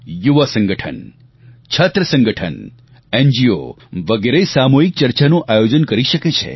યુવા સંગઠન છાત્ર સંગઠન એનજીઓ વગેરે સામૂહિક ચર્ચાનું આયોજન કરી શકે છે